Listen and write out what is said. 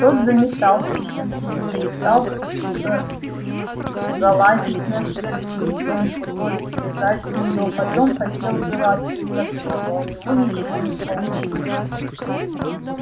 тот заметался ещё сильнее стал то залезать на шведскую стенку то слезать с нее потом хотел было открыть окно но у него ничего не получилось